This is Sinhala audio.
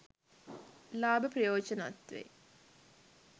ලාභ ප්‍රයෝජන අත්වෙයි.